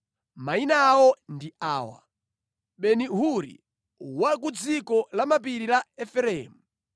Mayina awo ndi awa: Beni-Huri, wa ku dziko la mapiri la Efereimu;